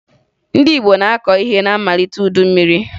Ndị Igbo na-akọ ihe na mmalite udu mmiri